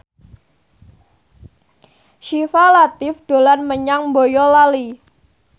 Syifa Latief dolan menyang Boyolali